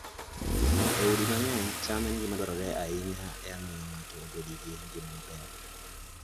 E udi mang'eny, cham en gima dwarore ahinya e miyo ng'ato obed gi ngima maber.